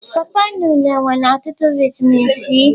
Pọ pọ na unịne nwere otutu vitamin C.